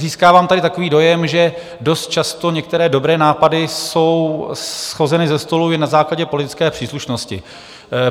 Získávám tady takový dojem, že dost často některé dobré nápady jsou shozeny ze stolu jen na základě politické příslušnosti.